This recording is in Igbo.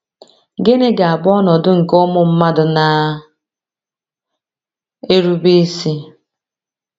Gịnị ga - abụ ọnọdụ nke ụmụ mmadụ na - erube isi?